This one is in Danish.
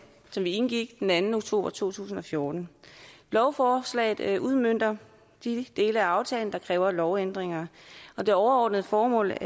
som vi indgik den anden oktober to tusind og fjorten lovforslaget udmønter de dele af aftalen der kræver lovændringer og det overordnede formål